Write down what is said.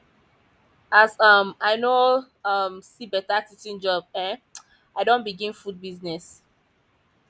as um i no um see beta teaching job um i don begin food business